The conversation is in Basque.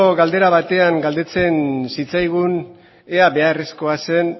galdera batean galdetzen zitzaigun ea beharrezkoa zen